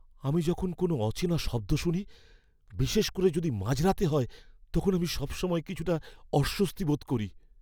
আমি যখন কোনো অচেনা শব্দ শুনি, বিশেষ করে যদি মাঝরাতে হয়, তখন আমি সবসময় কিছুটা অস্বস্তি বোধ করি।